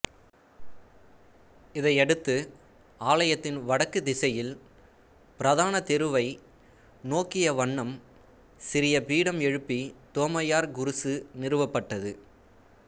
இதையடுத்து ஆலயத்தின் வடக்கு திசையில் பிரதான தெருவை நோக்கிய வண்ணம் சிறிய பீடம் எழுப்பி தோமையார் குருசு நிறுவப்பட்டது